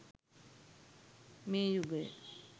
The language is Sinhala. මේ යුගය